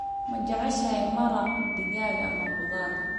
Ma jeceshahay maraq digaag ama khudaar?